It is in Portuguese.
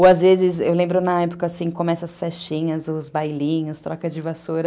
Ou, às vezes, eu lembro na época, assim, começam as festinhas, os bailinhos, trocas de vassoura.